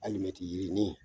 Alimɛti yiri nin